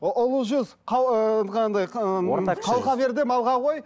ұлы жүз анандай ыыы қалқа бер де малға қой